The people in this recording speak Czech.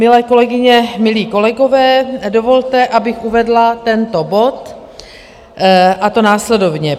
Milé kolegyně, milí kolegové, dovolte, abych uvedla tento bod, a to následovně.